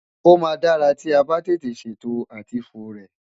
Ó maa dara ti o ba tete seto àti fo rę